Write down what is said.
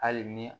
Hali ni